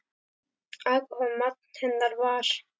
Alkóhól magn hennar var.